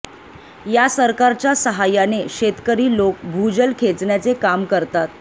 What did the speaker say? या सरकारच्या साहाय्याने शेतकरी लोक भूजल खेचण्याचे काम करतात